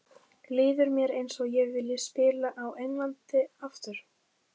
Líður mér eins og ég vilji spila á Englandi aftur?